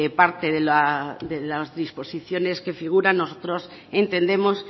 parte de las disposiciones que figuran nosotros entendemos